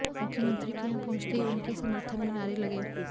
मुख्यमंत्री के यहां पहुंचते ही उनके समर्थन में नारे लगे